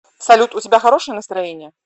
салют у тебя хорошее настроение